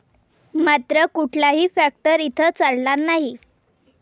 मात्र कुठलाही फॅक्टर इथं चालणार नाही.